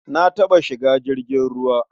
Na taɓa shiga jirgin ruwa.